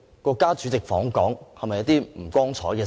國家主席訪港是否不光彩的事？